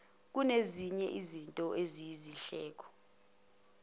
kungezinye zezinto eziyizindleko